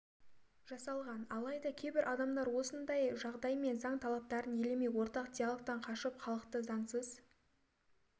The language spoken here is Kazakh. жасалған алайда кейбір адамдар осындай жағдай мен заң талаптарын елемей ортақ диалогтан қашып халықты заңсыз